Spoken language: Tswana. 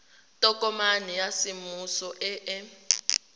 tokomane ya semmuso e e